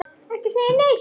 Ekki segja neitt!